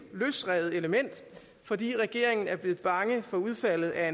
løsrevet element fordi regeringen er blevet bange for udfaldet af